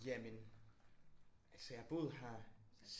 Jamen altså jeg har boet her